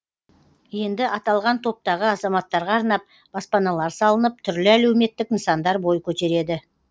енді аталған топтағы азаматтарға арнап баспаналар салынып түрлі әлеуметтік нысандар бой көтереді